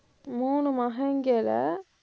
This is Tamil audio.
மூணு மகன்கள